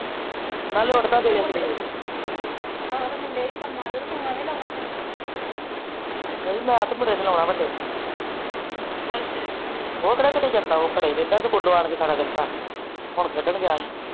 ਨਾਲੇ ਉਠਦਾ ਵੀ ਵੇਲੇ ਕਵੇਲੇ ਹਾ ਨਹੀ ਮੈ ਤੇ ਮੁੰਡੇ ਨੂੰ ਲਾਉਣਾ ਵੱਡੇ ਨੂੰ ਅੱਛਾ ਉਹ ਕਿਹਾੜਾ ਕਿਤੇ ਜਾਣਾ ਘਰੇ ਰਹਿੰਦਾ ਸਕੂਲੋ ਆ ਕੇ ਘਰ ਹੁਣ ਖੇਡ਼ਣ ਗਿਆ